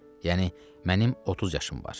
Yəni mənim 30 yaşım var.